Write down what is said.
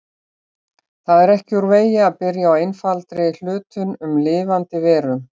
Það er ekki úr vegi að byrja á einfaldari hlutum en lifandi verum.